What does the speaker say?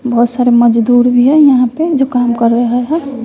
बहोत सारे मजदूर भी हैं यहां पे जो काम कर रहे हैं।